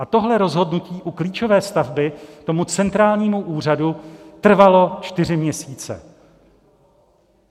A tohle rozhodnutí u klíčové stavby tomu centrálnímu úřadu trvalo čtyři měsíce.